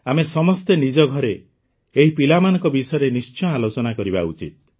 ଆମେ ସମସ୍ତେ ନିଜ ଘରେ ଏହି ପିଲାମାନଙ୍କ ବିଷୟରେ ନିଶ୍ଚୟ ଆଲୋଚନା କରିବା ଉଚିତ